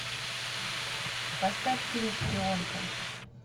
поставь фильм шпионка